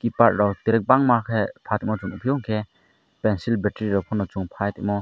tiger rok terik bangma ke omo chung nugfio ke pencil battery rok fano chung fight omo.